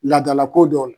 Laadalako dɔ la